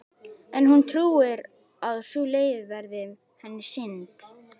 En hún trúir að sú leið verði henni sýnd.